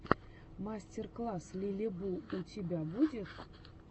мастер класс лилибу у тебя будет